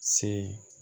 Se